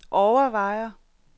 overvejer